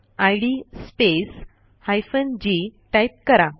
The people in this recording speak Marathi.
इद स्पेस हायफेन जी टाईप करा